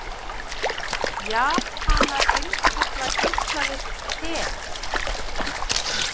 Japanar innkalla geislavirkt te